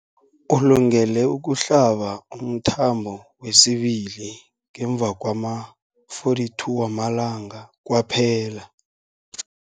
Ulungele ukuhlaba umthamo wesibili ngemva kwama-42 wamalanga kwaphela.